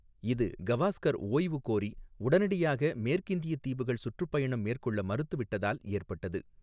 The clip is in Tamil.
இது, கவாஸ்கர் ஓய்வு கோரி, உடனடியாக மேற்கிந்தியத் தீவுகள் சுற்றுப்பயணம் மேற்கொள்ள மறுத்துவிட்டதால் ஏற்பட்டது.